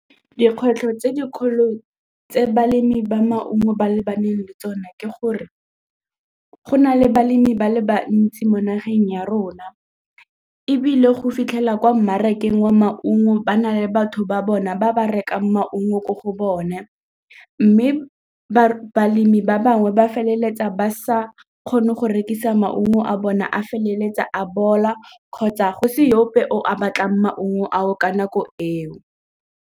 Dikgwetlho tse dikgolo tse balemi ba maungo ba lebaneng le tsone ke gore go na le balemi ba le bantsi mo nageng ya rona ebile go fitlhela kwa mmarakeng wa maungo ba na le batho ba bona ba ba rekang maungo ko go bone mme balemi ba bangwe ba feleletsa ba sa kgone go rekisa maungo a bona a feleletsa a bola kgotsa go se ope o a batlang maungo ao ka nako eo.